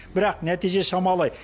бірақ нәтиже шамалы